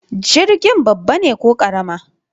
Jirgin babba ne ko karama?